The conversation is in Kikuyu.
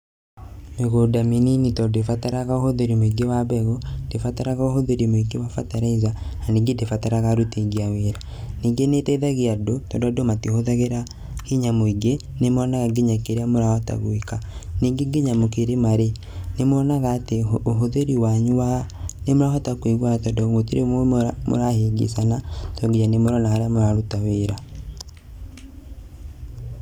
Mĩgũnda mĩnini tondũ ndibataraga ũhũthĩri mũingĩ wa mbegũ, ndĩbataraga ũhũthĩri mũingĩ wa bataraitha na ningĩ ndĩbataraga aruti aingĩ a wĩra. Ningĩ nĩĩteithagia andũ tondũ andũ matihũthagĩra hinya mũingĩ, nĩmonaga nginya kĩrĩa marahota gwĩka. Ningĩ nginya mũkĩrĩma-rĩ, nĩmuonaga atĩ ũhũthĩri wanyu wa, nĩmũrahota kũiguana tondũ gũtirĩ mũrahĩngĩcana tondũ nginya nĩmũrona harĩa mũraruta wĩra.